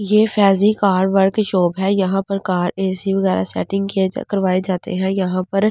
यह फेजी car workshop है यहां पर कार एसी वगैरा सेटिंग किया जाए करवाए जाते हैं यहां पर ।